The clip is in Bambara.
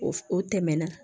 O f o tɛmɛna